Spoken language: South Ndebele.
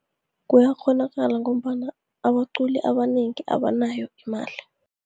Kuyakghonakala ngombana abaculi abanengi abanayo imali.